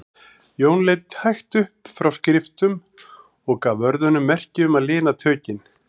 Jón leit hægt upp frá skriftum og gaf vörðunum merki um að lina tökin.